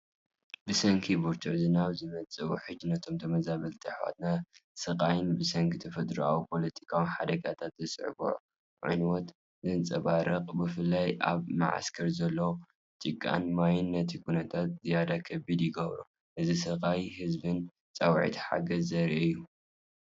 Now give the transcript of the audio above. ብሰንኪ ብርቱዕ ዝናብ ዝመጽእ ውሕጅ፡ ነቶም ተመዘባልቲ ኣሕዋተይ ስቓይን ብሰንኪ ተፈጥሮኣዊን ፖለቲካውን ሓደጋታት ዘስዓቦ ዕንወትን ዘንጸባርቕ፣ ብፍላይ ኣብ መዓስከር ዘሎ ጭቃን ማይን ነቲ ኩነታት ዝያዳ ከቢድ ይገብሮ። እዚ ስቓይ ህዝብን ጻውዒት ሓገዝን ዘርኢ እዩ።